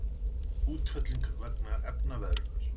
Útfelling vegna efnaveðrunar.